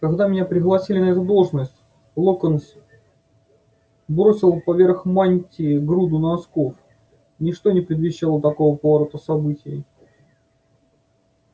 когда меня пригласили на эту должность локонс бросил поверх мантии груду носков ничто не предвещало такого поворота событий